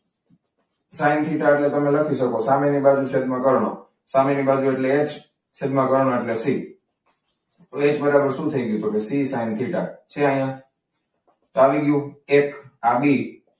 Sine theta એટલે તમે લખી શકો છો કે સામેની બાજુ ભાગ્યા કર્ણ. સામેની બાજુ એટલે એચ છેદમાં કર્ણ એટલે સી. વેધ બરાબર શું થઈ ગયું? તો કે સી સાઈન થીટા છે. અહીંયા તો આવી ગયું એક આ બી.